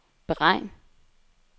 beregn